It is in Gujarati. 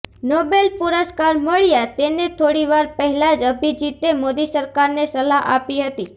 નોબેલ પુરસ્કાર મળ્યાં તેને થોડી વાર પહેલાં જ અભિજીતે મોદી સરકારને સલાહ આપી હતી